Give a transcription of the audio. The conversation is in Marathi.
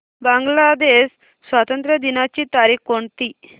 बांग्लादेश स्वातंत्र्य दिनाची तारीख कोणती